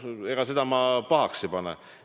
No ega ma seda pahaks ei pane.